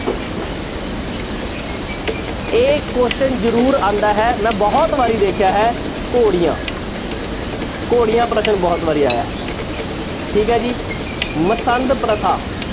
ਇਹ question ਜ਼ਰੂਰ ਆਉਂਦਾ ਹੈ ਮੈਂ ਬਹੁਤ ਵਾਰੀ ਦੇਖਿਆ ਹੈ ਘੋੜੀਆਂ ਘੋੜੀਆਂ ਪ੍ਰਸ਼ਨ ਬਹੁਤ ਵਾਰੀ ਆਇਆ ਹੈ ਠੀਕ ਹੈ ਜੀ ਮਸੰਦ ਪ੍ਰਥਾ।